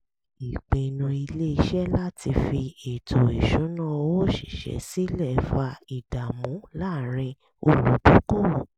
ìpinnu ilé-iṣẹ́ láti fi ètò ìṣúnná owó òṣìṣẹ́ sílẹ̀ fa ìdààmú láàárín olùdókòwò